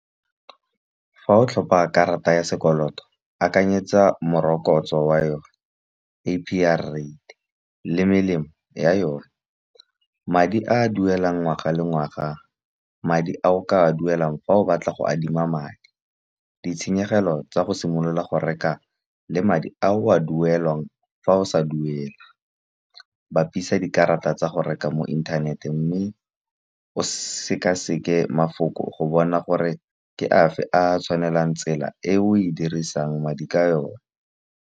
Fa o tlhopa karata ya sekoloto akanyetsa morokotso wa yone, A_P_R rate le melemo ya yone. Madi a duelang ngwaga le ngwaga madi a o ka a duelang fa o batla go adima madi. Ditshenyegelo tsa go simolola go reka le madi a o a duelang fa o sa duele. Bapisa dikarata tsa go reka mo internet-eng mme o sekaseke mafoko go bona gore ke afe a tshwanelang tsela e o e dirisang madi ka yone.